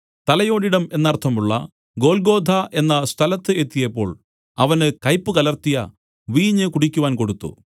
തലയോടിടം എന്നർത്ഥമുള്ള ഗൊല്ഗോഥാ എന്ന സ്ഥലത്ത് എത്തിയപ്പോൾ അവന് കയ്പ് കലർത്തിയ വീഞ്ഞ് കുടിക്കുവാൻ കൊടുത്തു